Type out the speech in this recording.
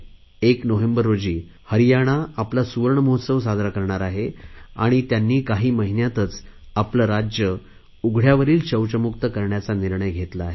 1 November रोजी हरियाणा आपला सुवर्णमहोत्सव साजरा करणार आहे आणि त्यांनी काही महिन्यातच आपले राज्य उघडयावरील शौचमुक्त करण्याचा निर्णय घेतला आहे